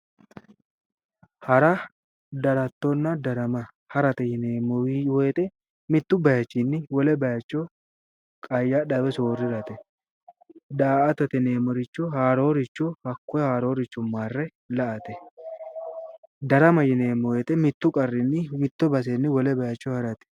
Hara, darattonna darama, hara yinneemmo woyte qayadha woyi soorirate ,daa"attate yinneemmo woyite haaroricho hakkoe marre la"ate ,darama yinneemmo woyte mite baseni wole base harate